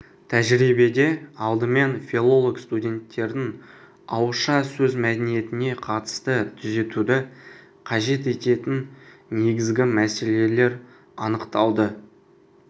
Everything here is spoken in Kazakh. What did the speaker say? тәжірибеде алдымен филолог-студенттердің ауызша сөз мәдениетіне қатысты түзетуді қажет ететін негізгі мәселелер анықталды